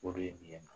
O de ye nin ye